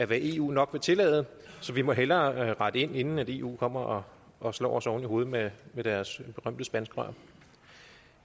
hvad eu nok vil tillade så vi må hellere rette ind inden eu kommer og slår os oven i hovedet med deres berømte spanskrør